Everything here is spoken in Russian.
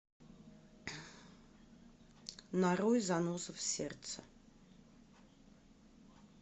нарой заноза в сердце